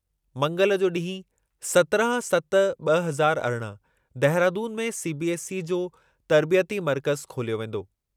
मंगल जो ॾींहु, सत्रहं सत ॿ हज़ार अरिॾहं देहरादून में सीबीएसई जो तर्बियती मर्कज़ु खोलियो वेंदो।